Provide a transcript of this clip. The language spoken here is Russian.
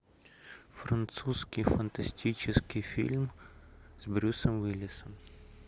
французский фантастический фильм с брюсом уиллисом